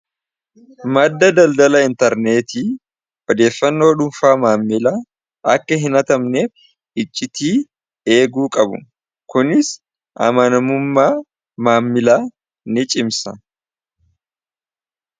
madda daldala intarneetii badeeffannoo dhunfaa maammila akka hin atamnef iccitii eeguu qabu kunis amanamummaa maammila ni cimsa